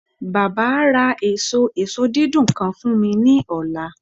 Baba a ra eso eso didun kan fun mi ni ọla